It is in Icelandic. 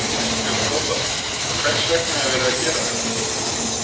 Þorbjörn Þórðarson: Hvers vegna er verið að gera þetta?